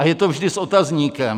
A je to vždy s otazníkem.